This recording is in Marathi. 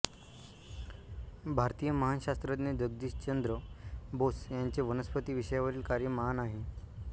भारतीय महान शास्त्रज्ञ जगदीशचंद्र बोस यांचे वनस्पती विषयावरील कार्य महान आहे